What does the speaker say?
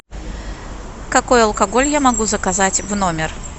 какой алкоголь я могу заказать в номер